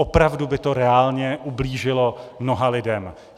Opravdu by to reálně ublížilo mnoha lidem.